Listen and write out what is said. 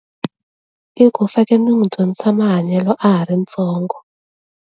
I ku faneke ni n'wi dyondzisa mahanyelo a ha ri ntsongo.